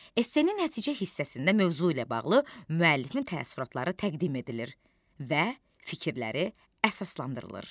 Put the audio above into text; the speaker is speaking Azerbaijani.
Essenin nəticə hissəsində mövzu ilə bağlı müəllifin təəssüratları təqdim edilir və fikirləri əsaslandırılır.